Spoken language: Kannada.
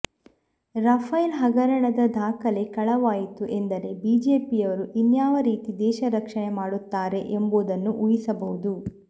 ರಫೈಲ್ ಹಗರಣದ ದಾಖಲೆ ಕಳವಾಯಿತು ಎಂದರೆ ಬಿಜೆಪಿಯರು ಇನ್ಯಾವ ರೀತಿ ದೇಶ ರಕ್ಷಣೆ ಮಾಡುತ್ತಾರೆ ಎಂಬುದನ್ನು ಊಹಿಸಬಹುದು